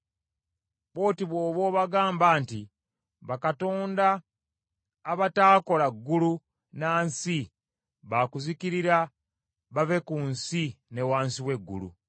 “Bw’oti bw’oba obagamba nti, ‘Bakatonda abataakola ggulu na nsi ba kuzikirira bave ku nsi ne wansi w’eggulu.’ ”